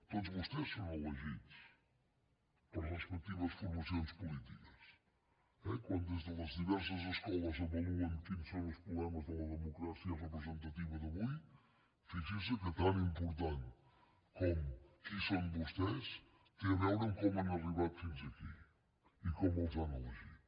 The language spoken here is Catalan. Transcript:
tots vostès són elegits per les respectives formacions polítiques eh quan des de les diverses escoles avaluen quins són els problemes de la democràcia representativa d’avui fixin se que tan important com qui són vostès té a veure com han arribat fins aquí i com els han elegit